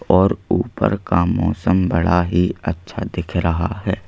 और ऊपर का मौसम बड़ा ही अच्छा दिख रहा है।